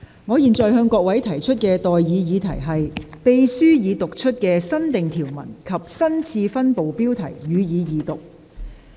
我現在向各位提出的待議議題是：秘書已讀出的新訂條文及新次分部的標題，予以二讀。